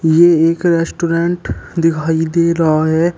ये एक रेस्टोरेंट दिखाई दे रहा है।